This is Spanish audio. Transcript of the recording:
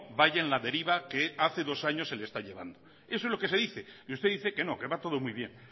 vaya en la deriva que hace dos años se le está llevando eso es lo que se dice y usted dice que no que va todo muy bien